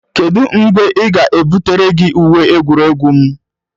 Kedu mgbe ị ga-ebutere gị uwe egwuregwu m?